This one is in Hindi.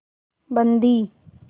बंदी